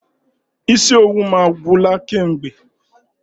Isi owu m agwụla kamgbe.